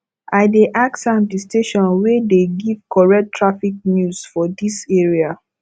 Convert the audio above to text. i dey ask am di station wey dey give correct traffic news for dis area